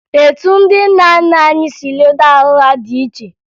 Etu ndị nna nna anyị si ledo ahụ ha dị iche